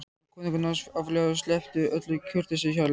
spurði konungur nánast áfjáður og sleppti öllu kurteisishjali.